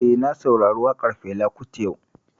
Eh, na saurari waƙan Fela Kuti yau